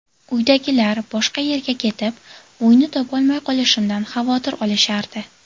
Uydagilar boshqa yerga ketib, uyni topolmay qolishimdan xavotir olishardi.